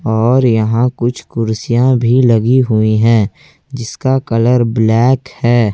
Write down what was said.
और यहां कुछ कुर्सियां भी लगी हुई है जिसका कलर ब्लैक है।